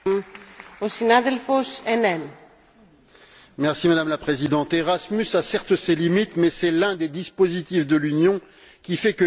Madame la Présidente, Erasmus a certes ses limites mais c'est l'un des dispositifs de l'Union qui fait que les peuples, et notamment les jeunes, apprécient l'idée d'Europe.